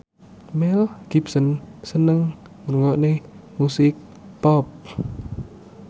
Mel Gibson seneng ngrungokne musik pop